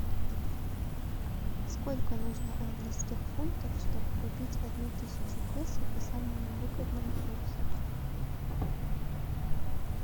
сколько нужно английских фунтов чтобы купить одну тысячу песо по самому выгодному курсу